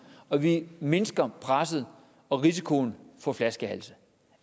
og vi mindsker presset og risikoen for flaskehalse